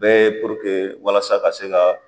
Bɛ walasa ka se ka